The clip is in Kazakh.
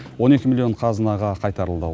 он екі миллион қазынаға қайтарылды